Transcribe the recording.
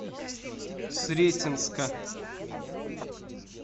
сретенска